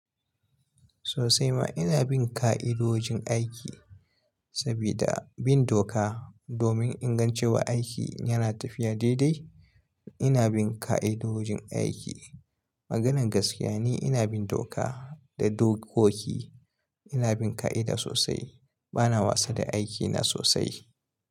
Sosai ma ina bin ka'idojin aiki, sabida bin doka domin ingancewa aiki yana tafiya daidai. Ina bin ka'idojin aiki. Maganar gaskiya ni ina bin doka da dokoki. Ina bin ka'ida sosai. Bana wasa da aikina sosai.